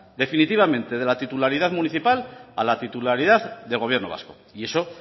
definitivamente de la titularidad municipal a la titularidad del gobierno vasco y eso